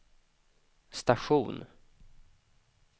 station